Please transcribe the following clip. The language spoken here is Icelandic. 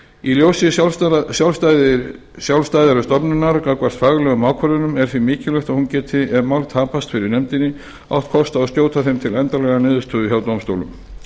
í ljósi sjálfstæði stofnunarinnar gagnvart faglegum ákvörðunum er því mikilvægt að hún geti ef mál tapast fyrir nefndinni átt kost á að skjóta þeim til endanlegrar niðurstöðu hjá dómstólum